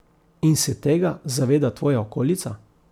In se tega zaveda tvoja okolica.